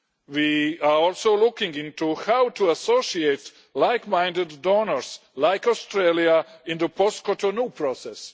We are also looking into how to associate like-minded donors, like Australia, in the post-Cotonou process.